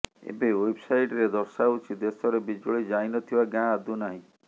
ଏବେ ୱେବସାଇଟ୍ ଦର୍ଶାଉଛି ଦେଶରେ ବିଜୁଳି ଯାଇନଥିବା ଗାଁ ଆଦୌ ନାହିଁ